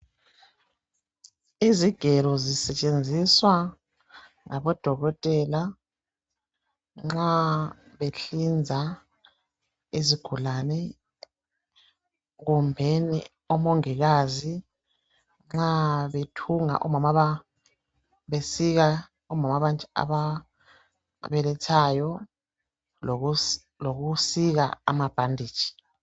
Izigelo zisetshenziswa ngabodokotela nxa behlinza izigulane kumbeni omongikazi nxa bethunga omama ababelethayo lokusika amabhanditshi.